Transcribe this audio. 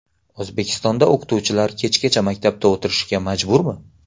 O‘zbekistonda o‘qituvchilar kechgacha maktabda o‘tirishga majburmi?.